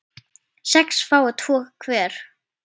sex fái tvo hver